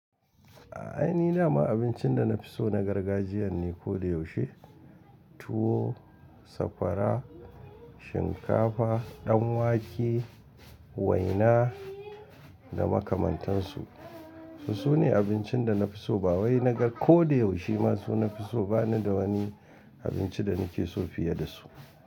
A aini ni dama abincin da na fi so na gargajiya ne ko da yaushe. Tuwo, sakwara, shinkafa, dan wake, waina da makamantansu. Sune abincin da na fi so ba wai na ga ko da yaushe ma su na fi so ba ni da wani abinci da na ke so fiye da su.